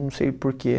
Não sei porquê.